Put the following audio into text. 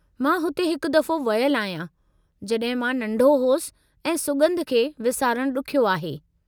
मां उते हिकु दफ़ो वयलु आहियां जड॒हिं मां नंढो होसि ऐं सुॻंधु खे विसारणु ॾुख्यो आहे।